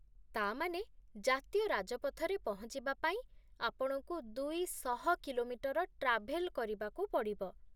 ତା' ମାନେ ଜାତୀୟ ରାଜପଥରେ ପହଞ୍ଚିବା ପାଇଁ ଆପଣଙ୍କୁ ଦୁଇଶହ କିଲୋମିଟର ଟ୍ରାଭେଲ୍ କରିବାକୁ ପଡ଼ିବ ।